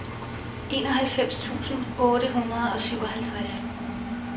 enoghalvfems tusind otte hundrede og syvoghalvtreds